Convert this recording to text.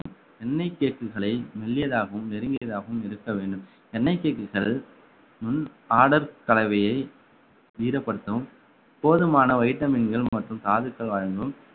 எண்ணெய் cake களை மெல்லியதாகவும் நெருங்கியதாகவும் இருக்க வேண்டும் எண்ணெய் cake கள் முன் order கலவையை ஈரப்படுத்தும் போதுமான vitamin கள் மற்றும் தாதுக்கள் வழங்கும்